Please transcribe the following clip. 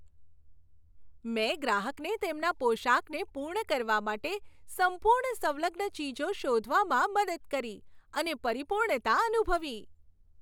મેં ગ્રાહકને તેમના પોશાકને પૂર્ણ કરવા માટે સંપૂર્ણ સંલગ્ન ચીજો શોધવામાં મદદ કરી અને પરિપૂર્ણતા અનુભવી.